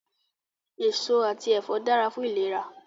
Èso àti ẹ̀fọ́ dára fún ìlera